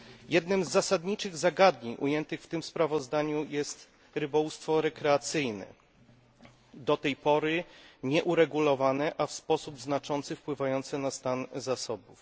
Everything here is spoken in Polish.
Jednym z zasadniczych zagadnień ujętych w tym sprawozdaniu jest rybołówstwo rekreacyjne, do tej pory nieuregulowane, a w sposób znaczący wpływające na stan zasobów.